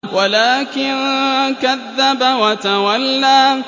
وَلَٰكِن كَذَّبَ وَتَوَلَّىٰ